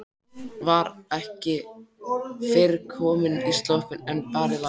Var ekki fyrr komin í sloppinn en barið var.